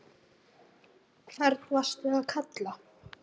hvern varstu að kalla?